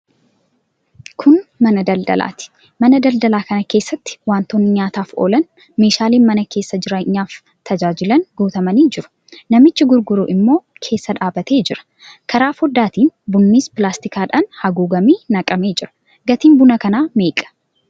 Kun mana daldalaati. Mana daldalaa kana keessatti wantootni nyaataaf oolan, meeshaaleen mana keessaa jireenyaaf tajaajilan guutamanii jiru. Namtichi gurguru immoo keessa dhaabbatee jira. Karaa foddaatiin bunnis pilaastikiidhaan haguugamee naqamee jira. Gatiin buna kanaa meeqa?